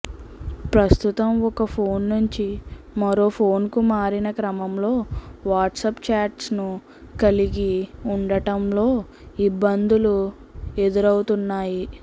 ప్రస్తుతం ఒక ఫోన్ నుంచి మరో ఫోన్కు మారిన క్రమంలో వాట్సాప్ చాట్స్ను కలిగి ఉండటంలో ఇబ్బందులు ఎదురవుతున్నాయి